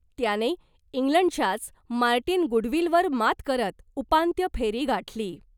त्याने इंग्लंडच्याच मार्टिन गुडविलवर मात करत उपांत्य फेरी गाठली .